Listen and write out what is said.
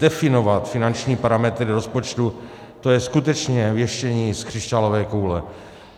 Definovat finanční parametry rozpočtu, to je skutečně věštění z křišťálové koule.